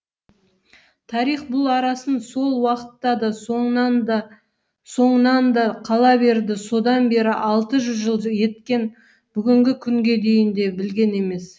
тарих бұл арасын сол уақытта да соңынан да қала берді содан бері алты жүз жыл еткен бүгінгі күнге дейін де білген емес